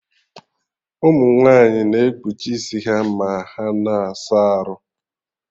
Ụmụ nwaanyị na ekpuchi isi ha ma ha na-asa arụ